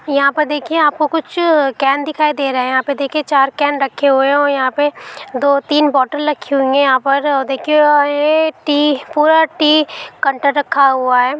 यहाँ पर देखिए आपको कुछ कैन दिखाई दे रहें यहाँ पर देखिए चार कैन रखे हुए है और यहाँ पे दो तीन बोटल रखी हुई है यहाँ पर और देखिये अ ये टि पूरा टि काउंटर रखा हुआ है।